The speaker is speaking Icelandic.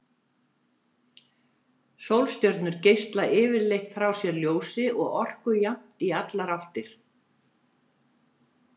Sólstjörnur geisla yfirleitt frá sér ljósi og orku jafnt í allar áttir.